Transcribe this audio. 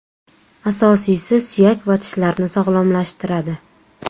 Asosiysi suyak va tishlarni sog‘lomlashtiradi.